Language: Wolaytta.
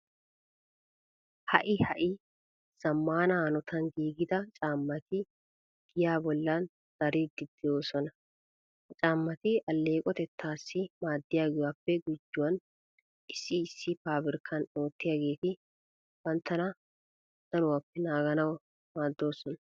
Ha"i ha"i zammaana hanotan giigida caammati giyaa bollan dariiddi de'oosona. Ha caammati alleeqotettaassi maaddiyogaappe gujuwan issi issi paabirkkan oottiyageeti banttana danuwappe naaganawu maaddoosona.